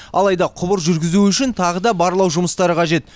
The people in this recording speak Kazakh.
алайда құбыр жүргізу үшін тағы да барлау жұмыстары қажет